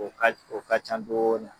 O ka o ka ca dɔɔni